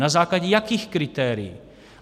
Na základě jakých kritérií?